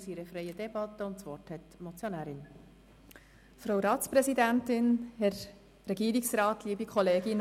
Wir führen eine freie Debatte, und das Wort hat die Motionärin.